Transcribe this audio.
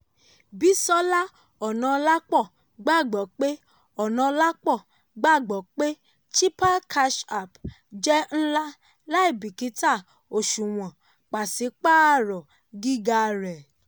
bisola onaolapo gbàgbọ́ pé onaolapo gbàgbọ́ pé chipper cash app jẹ nla láìbíkítà òṣùwọ̀n pàṣípáàrọ̀ gíga rẹ̀.